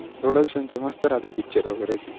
production चे मस्त राहता picture वगेरे.